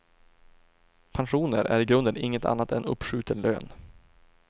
Pensioner är i grunden inget annat än uppskjuten lön.